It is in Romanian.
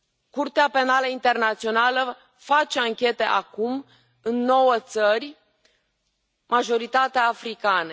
Curtea Penală Internațională face anchete acum în nouă țări, majoritatea africane.